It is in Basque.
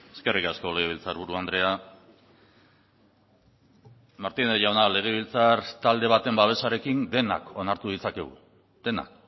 eskerrik asko legebiltzarburu andrea martínez jauna legebiltzar talde baten babesarekin denak onartu ditzakegu denak